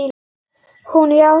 Hún játti.